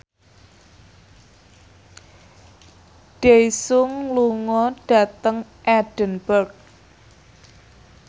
Daesung lunga dhateng Edinburgh